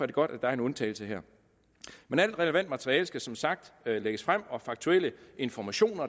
det godt at der er en undtagelse her men alt relevant materiale skal som sagt lægges frem og al faktuel information